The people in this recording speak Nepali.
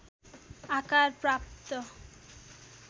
आकार प्राप्त